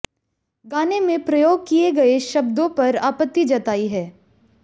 गाने में प्रयोग किए गए शब्दों पर आपत्ति जताई है